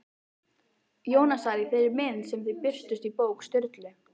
Jónasar í þeirri mynd sem þau birtust í bók Sturlu?